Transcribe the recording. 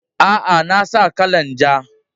A'a, na sa kalan ja.